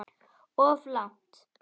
Of langt.